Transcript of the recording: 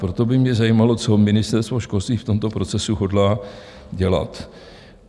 Proto by mě zajímalo, co Ministerstvo školství v tomto procesu hodlá dělat.